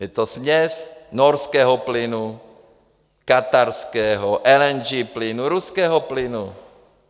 Je to směs norského plynu, katarského, LNG plynu, ruského plynu.